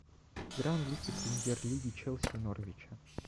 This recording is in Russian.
игра английской премьер лиги челси и норвича